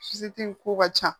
in ko ka ca